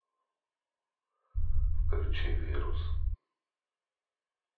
включи вирус